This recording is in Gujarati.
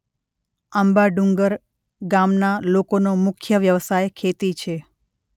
આંબાડુંગર ગામના લોકોનો મુખ્ય વ્યવસાય ખેતી છે.